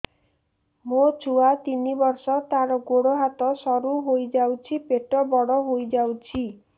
ମୋ ଛୁଆ ତିନି ବର୍ଷ ତାର ଗୋଡ ହାତ ସରୁ ହୋଇଯାଉଛି ପେଟ ବଡ ହୋଇ ଯାଉଛି